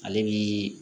Ale bi